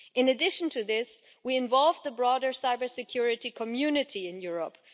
In addition to this, we involve the broader cybersecurity community in Europe.